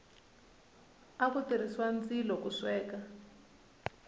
aku tirhisiwa ndzilo ku sweka